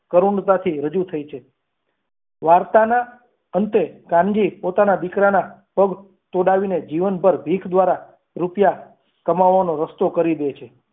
કરુણતાથી રજૂ થઈ છે વાર્તાના અંતે કાનજી પોતાના દીકરાના પગ તોડાવીને જીવન પર ભીખ દ્વારા રૂપિયા કમાવાનો રસ્તો કરી દે છે.